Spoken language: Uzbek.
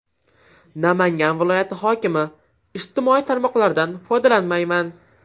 Namangan viloyati hokimi: Ijtimoiy tarmoqlardan foydalanmayman .